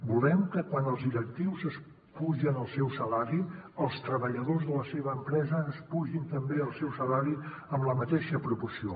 volem que quan els directius es pugen el seu salari els treballadors de la seva empresa es pugin també el seu salari en la mateixa proporció